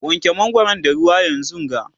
wanke mangwaron da ruwa yanzunga!